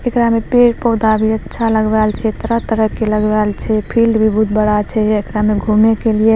एकरा में पेड़-पौधा भी अच्छा लगवाएल छै तरह तरह के लगवाएल छै फील्ड भी बोहुत बड़ा छै एकरा में घूमे के लिए।